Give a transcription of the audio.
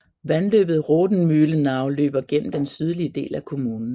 Vandløbet Rothenmühlenau løber gennem den sydlige del af kommunen